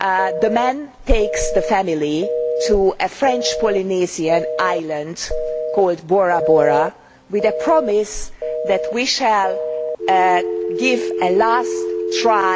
the man takes the family to a French Polynesian island called Bora Bora with a promise that they will have a last try